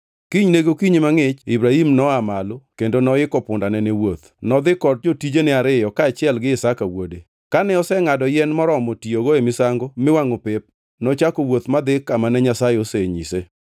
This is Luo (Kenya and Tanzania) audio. Kinyne gokinyi mangʼich Ibrahim noa malo kendo noiko pundane ne wuoth. Nodhi kod jotijene ariyo kaachiel gi Isaka wuode. Kane osengʼado yien moromo tiyogo e misango miwangʼo pep, nochako wuoth madhi kamane Nyasaye osenyise.